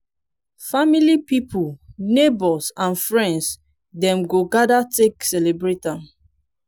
family pipol neibours and friends dem go gather take celebrate am